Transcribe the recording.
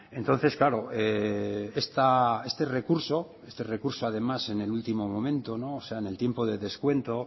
entonces claro este recurso recurso además en el último momento o sea en el tiempo de descuento